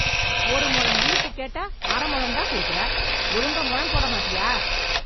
ஒரு முழம் மல்லி பூ கேட்டா அரை முழம் தான் குடுக்குற, ஒழுங்கா முழம் போட மாட்டிய?